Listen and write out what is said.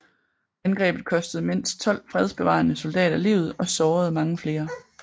Angrebet kostede mindst 12 fredsbevarende soldater livet og sårede mange flere